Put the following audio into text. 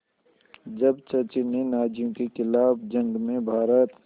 जब चर्चिल ने नाज़ियों के ख़िलाफ़ जंग में भारत